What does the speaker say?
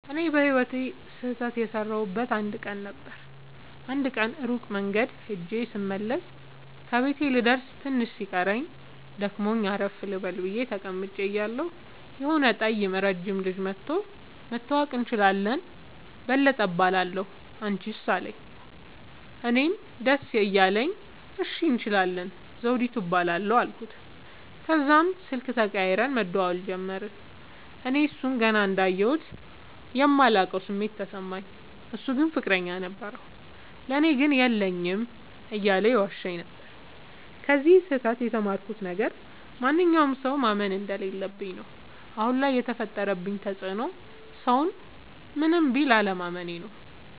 እኔ በህይወቴ ስህተት የሠረውበት አንድ ቀን ነበር። አንድ ቀን ሩቅ መንገድ ኸጀ ስመለስ ከቤቴ ልደርስ ትንሽ ሲቀረኝ ደክሞኝ አረፍ ልበል ብየ ተቀምጨ እያለሁ የሆነ ጠይም ረጅም ልጅ መኧቶ<< መተዋወቅ እንችላለን በለጠ እባላለሁ አንችስ አለኝ>> አለኝ። እኔም ደስ እያለኝ እሺ እንችላለን ዘዉዲቱ እባላለሁ አልኩት። ተዛም ስልክ ተቀያይረን መደዋወል ጀመርን። እኔ እሡን ገና እንዳየሁት የማላቀዉ ስሜት ተሰማኝ። እሡ ግን ፍቅረኛ ነበረዉ። ለኔ ግን የለኝም የለኝም እያለ ይዋሸኝ ነበር። ከዚ ስህተ ት የተማርኩት ነገር ማንኛዉንም ሠዉ ማመን እንደለለብኝ ነዉ። አሁን ላይ የፈጠረብኝ ተፅዕኖ ሠዉን ምንም ቢል አለማመኔ ነዉ።